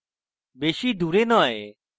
বেশী দুরে নয়